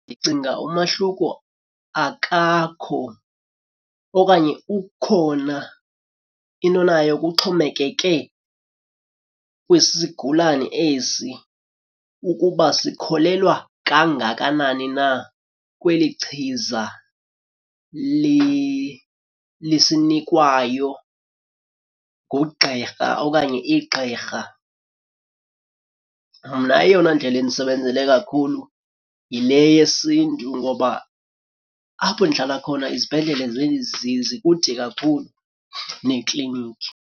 Ndicinga umahluko akakho okanye ukhona, into nayo kuxhomekeke kwisigulane esi ukuba sikholelwa kangakanani na kweli chiza lisinikwayo ngugqirha okanye igqirha. Mna eyona ndlela indisebenzele kakhulu yile yesiNtu ngoba apho ndihlala khona izibhedlele zikude kakhulu nekliniki.